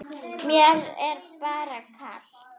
Mér er bara kalt.